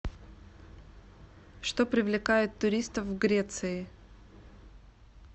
что привлекает туристов в греции